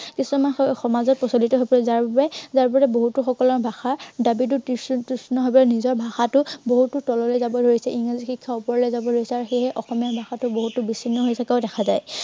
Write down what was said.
কিছুমান সমাজত প্ৰচলিত হৈ পৰিল। যাৰ বাবে যাৰ বাবে বহুতো সকলৰ ভাষা, জাতিটো তুচ্ছ ভাৱে নিজৰ ভাষাতো বহুতো তললৈ যাবলৈ লৈছে। ইংৰাজী শিক্ষা উপৰলৈ যাবলৈ লৈছে আৰু সেয়েহে অসমীয়া ভাষাটো বহুতো বিচ্ছিন্ন হৈ থকাও দেখা যায়।